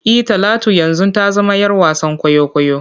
E, Talatu yanzu ta zama ‘yar wasan kwaikwayo.